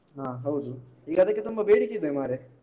ಹಾ ಹೌದು ಈಗ ಅದಕ್ಕೆ ತುಂಬ ಬೇಡಿಕೆ ಇದೆ ಮಾರೆ.